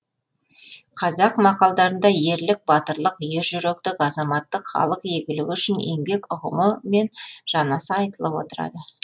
қазақ мақалдарында ерлік батырлық ержүректік азаматтық халық игілігі үшін еңбек ұғымы мен жанаса айтылып отырады